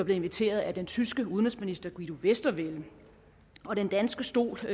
inviteret af den tyske udenrigsminister guido westerwelle den danske stol